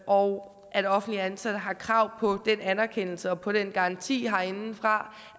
og at offentligt ansatte har krav på den anerkendelse og på den garanti herindefra